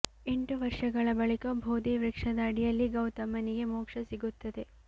ಎಂಟು ವರ್ಷಗಳ ಬಳಿಕ ಬೋಧಿ ವೃಕ್ಷದ ಅಡಿಯಲ್ಲಿ ಗೌತಮನಿಗೆ ಮೋಕ್ಷ ಸಿಗುತ್ತದೆ